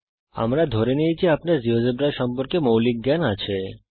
আমরা ধরে নেই যে আপনার জীয়োজেব্রা সম্পর্কে মৌলিক জ্ঞান আছে